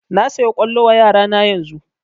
Na saya kwallo wa yaro na yanzun